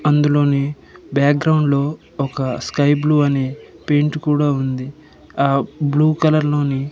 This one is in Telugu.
అందులోని బ్యాక్ గ్రౌండ్ లో స్కై బ్లూ అనే పెయింట్ కూడా ఉంది ఆ బ్లూ కలర్ లోని--